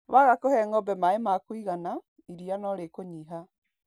Waga kũhe ng'ombe maĩ ma kũigana, iria no rĩkũnyiha.